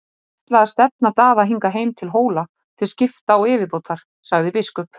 Ég ætla að stefna Daða hingað heim til Hóla til skrifta og yfirbótar, sagði biskup.